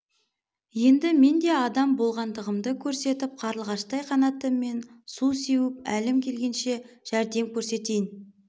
енді мен де адам болғандығымды көрсетіп қарлығаштай қанатыммен су сеуіп әлім келгенше жәрдем көрсетейін